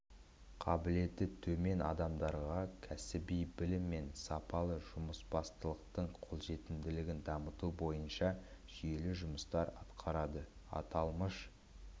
қабілеті төмен адамдарға кәсіби білім мен сапалы жұмысбастылықтың қолжетімділігін дамыту бойынша жүйелі жұмыстар атқарады аталмыш